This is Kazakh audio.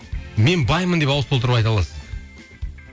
мен баймын деп ауыз толтырып айта аласыз